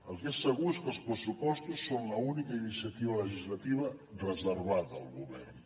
el que és segur és que els pressupostos són l’única iniciativa legislativa reservada al govern